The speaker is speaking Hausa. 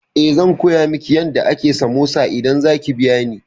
Eh, zan koya miki yadda ake samosa idan za ki biya ni.